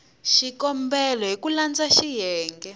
xikombelo hi ku landza xiyenge